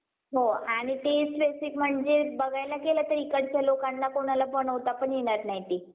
त्यामुळे अं कारण असंय की, आपल्याला proper ऊन मिळत नाही, आपल्या पिकाला. आपल्या अं जो आपण जे लावलेलं आहे, त्याला ऊन नाही मिळत त्यामुळे ते गळते.